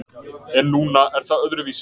En núna er það öðruvísi.